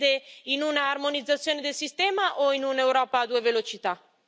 Lei crede in un'armonizzazione del sistema o in un'Europa a due velocità?